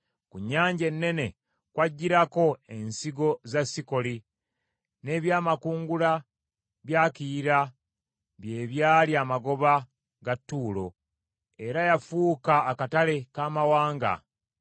Ku nnyanja ennene kwajjirako ensigo za Sikoli, n’ebyamakungula bya Kiyira bye byali amagoba ga Tuulo, era yafuuka akatale k’amawanga.